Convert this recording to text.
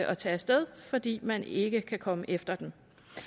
at tage af sted fordi man ikke kan komme efter dem